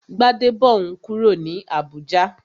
Gbadebo n kúrò ní Abùjá